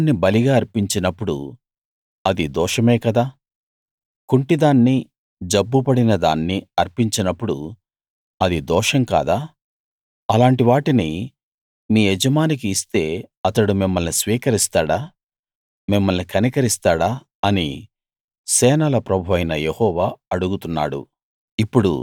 గుడ్డి దాన్ని బలిగా అర్పించినప్పుడు అది దోషమే కదా కుంటి దాన్ని జబ్బు పడిన దాన్ని అర్పించినప్పుడు అది దోషం కాదా అలాంటి వాటిని మీ యజమానికి ఇస్తే అతడు మిమ్మల్ని స్వీకరిస్తాడా మిమ్మల్ని కనికరిస్తాడా అని సేనల ప్రభువైన యెహోవా అడుగుతున్నాడు